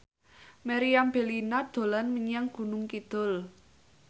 Meriam Bellina dolan menyang Gunung Kidul